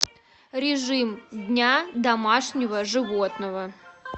режим дня домашнего животного